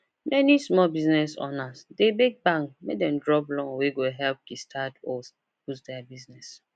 many small biz owners dey beg bank make dem drop loan wey go help kickstart or boost their business